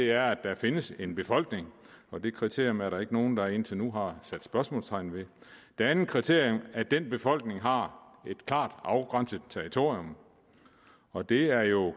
er at der findes en befolkning og det kriterium er der ikke nogen der indtil nu har sat spørgsmålstegn ved det andet kriterium er at den befolkning har et klart afgrænset territorium og det er jo